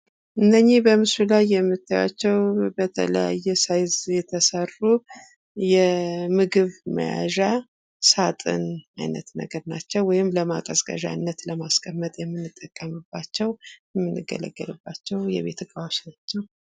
እነዚህ በምስሉ ላይ የምታያቸው በተለያየ ሳይዝ የተሰሩ የምግብ መያዣ ሳጥን ነገር አይነት ናቸው። ወይም ማቀዝቀዣነት ለማስቀመጥ የምንጠቀምባቸው፤ የምንገለገልባቸው የቤት ዕቃዎች ናቸው።